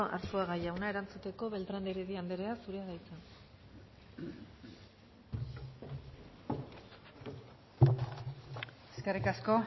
arzuaga jauna erantzuteko beltrán de heredia andrea eskerrik asko